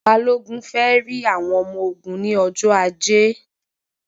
Balogun fẹ rí àwọn ọmọ ogun ní ọjọ ajé